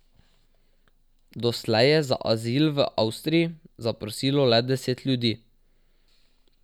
Doslej je za azil v Avstriji zaprosilo le deset ljudi.